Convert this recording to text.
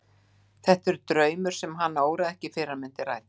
Þetta er draumur sem hana óraði ekki fyrir að myndi rætast.